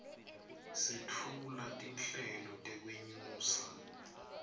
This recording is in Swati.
setfula tinhlelo tekwenyusa